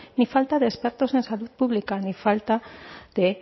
ni falta de expertos en salud pública ni falta de